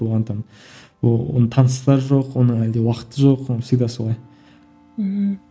оған там таныстар жоқ оның әлде уақыты жоқ он всегда солай ммм